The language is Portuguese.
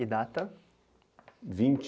E data? vinte